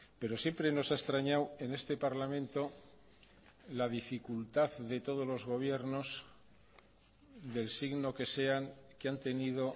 pero siempre nos ha extrañado en este parlamento la dificultad de todos los gobiernos del signo que sean que han tenido